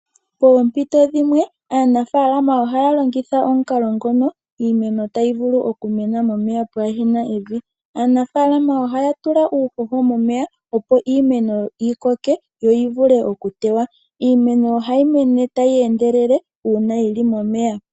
Poompito dhimwe aanafalama haya longitha omukalo ngono iimeno tayi vulu okumena momeya pwaaha na evi. Aanafaalama ohaya tula uupuka momeya opo iimeno yi koke yo yivule okutewa. Iimeno ohayi mene tayi endelele uuna yili momeya.